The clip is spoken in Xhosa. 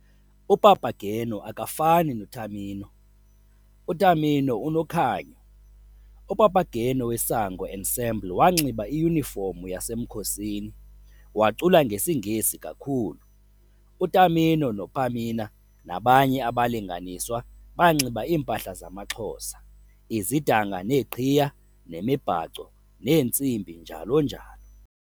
UPapageno akafani noTamino, uTamino unokhanyo UPapageno weSango Ensemble wanxiba iyunifomu yasemkhosini, wacula ngesiNgesi kakhulu. UTamino noPamina nabanye abalinganiswa banxiba iimpahla zamaXhosa- izidanga neeqhiya nemibhaco neentsimbi njalo njalo.